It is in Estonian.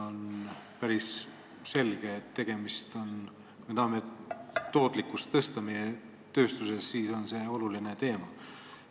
On päris selge, et kui me tahame tööstuses tootlikkust tõsta, siis on see oluline teema.